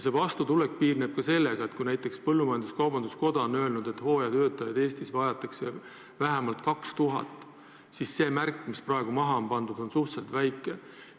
See vastutulek piirneb ka sellega, et kui näiteks põllumajandus-kaubanduskoda on öelnud, et hooajatöötajaid vajatakse Eestis vähemalt 2000, siis see märk, mis praegu maha on pandud, on suhteliselt väike.